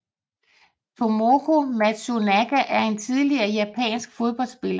Tomoko Matsunaga er en tidligere japansk fodboldspiller